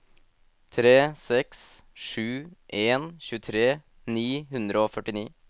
tre seks sju en tjuetre ni hundre og førtini